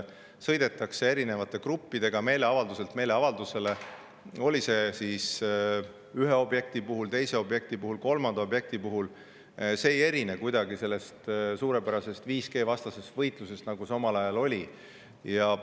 Sõidetakse erinevate gruppidega meeleavalduselt meeleavaldusele, on see siis ühe, teise või kolmanda objekti puhul – see ei erine kuidagi sellest suurepärasest 5G-vastasest võitlusest, mis omal ajal oli.